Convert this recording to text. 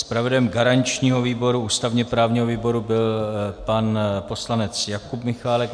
Zpravodajem garančního výboru, ústavně-právního výboru, byl pan poslanec Jakub Michálek.